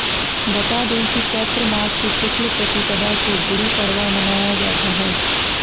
बता दें कि चैत्र मास की शुक्ल प्रतिपदा को गुड़ी पड़वा मनाया जाता है